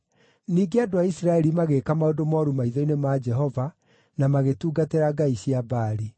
Ningĩ andũ a Isiraeli magĩĩka maũndũ mooru maitho-inĩ ma Jehova na magĩtungatĩra ngai cia Baali.